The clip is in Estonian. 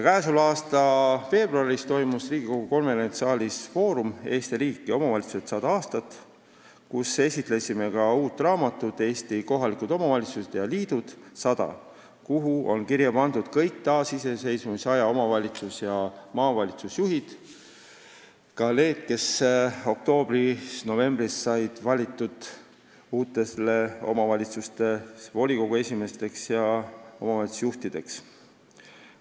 Tänavu veebruaris toimus Riigikogu konverentsisaalis foorum "Eesti riik ja omavalitsused – 100 aastat", kus esitlesime ka uut raamatut "Eesti kohalik omavalitsus ja liidud – 100", kuhu on kirja pandud kõik taasiseseisvusaja omavalitsuste ja maavalitsuste juhid, ka need, kes oktoobris-novembris said valitud uute omavalitsuste volikogu esimeesteks ja omavalitsuste juhtideks.